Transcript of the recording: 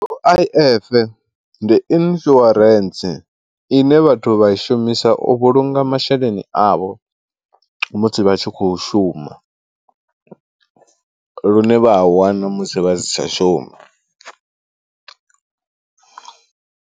U_I_F ndi insurance ine vhathu vha i shumisa u vhulunga masheleni avho musi vha tshi khou shuma lune vha a wana musi vha si tsha shuma.